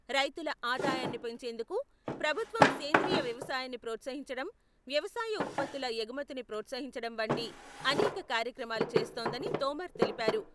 రైతుల ఆదాయాన్ని పెంచేందుకు ప్రభుత్వం సేంద్రీయ వ్యవసాయాన్ని ప్రోత్సహించడం, వ్యవసాయ ఉత్పత్తుల ఎగుమతిని ప్రోత్సహించడం వంటి అనేక కార్యక్రమాలు చేస్తోందని తోమర్ తెలిపారు.